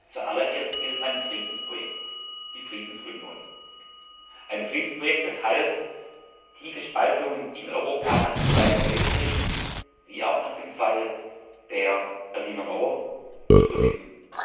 Zuallererst ging es um ein Friedensprojekt die Friedensunion. Ein Friedensprojekt, das half, tiefe Spaltungen in Europa nach dem Zweiten Weltkrieg wie auch nach dem Fall der Berliner Mauer zu überwinden.